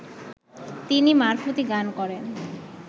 তিনি মারফতি গান করেন